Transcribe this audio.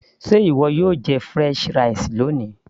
ṣé ìwọ yóò jẹ french fries loni